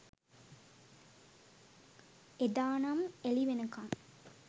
එදා නම් එලි වෙනකං